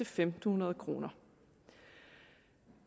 fem hundrede kroner